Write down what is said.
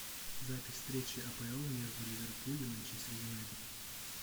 запись встречи апл между ливерпуль и манчестер юнайтед